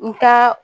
N ka